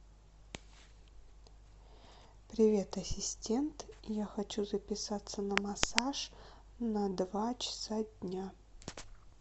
привет ассистент я хочу записаться на массаж на два часа дня